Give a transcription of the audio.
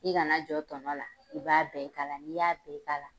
I kana jɔn tɔnɔ la, i b'a bɛɛ k' ala n'i y'a bɛɛ k' ala